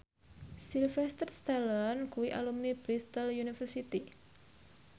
Sylvester Stallone kuwi alumni Bristol university